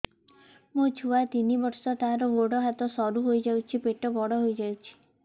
ମୋ ଛୁଆ ତିନି ବର୍ଷ ତାର ଗୋଡ ହାତ ସରୁ ହୋଇଯାଉଛି ପେଟ ବଡ ହୋଇ ଯାଉଛି